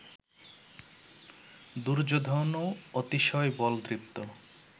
দুর্যোধনও অতিশয় বলদৃপ্ত